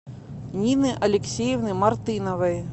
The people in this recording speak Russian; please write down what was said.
нины алексеевны мартыновой